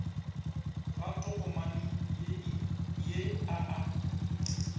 ga tokomane ye a a